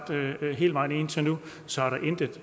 at ringe så